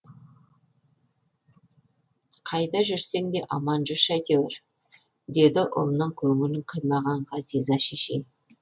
қайда жүрсең де аман жүрші әйтеуір деді ұлының көңілін қимаған ғазиза шешей